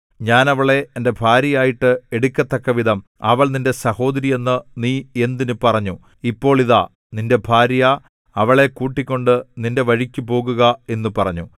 ഞാൻ അവളെ എന്റെ ഭാര്യയായിട്ട് എടുക്കത്തക്കവിധം അവൾ നിന്റെ സഹോദരിയെന്ന് നീ എന്തിന് പറഞ്ഞു ഇപ്പോൾ ഇതാ നിന്റെ ഭാര്യ അവളെ കൂട്ടിക്കൊണ്ട് നിന്റെ വഴിക്കുപോകുക എന്നു പറഞ്ഞു